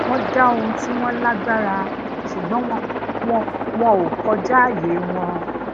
won da ohun ti won lagbara sugbon wọn ò kojaaye won